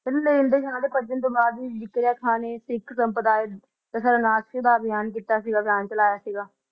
ਕਹਿੰਦੇ ਲੈਣ ਦੇਣ ਨਾਮ ਨੇ ਜਕੜਿਰਆ ਖਾ ਨੇ ਸਿੱਖ ਕੌਮ ਵਿੱਚ ਨਾਸਕੇ ਦਾ ਅਭਿਮਾਨ ਚਲਾਈਆ ਸੀ